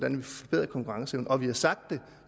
en forbedret konkurrenceevne vi har sagt det